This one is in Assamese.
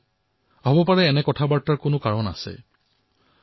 এই আলোচনাসমূহৰ কিবা কাৰণো থাকিব পাৰে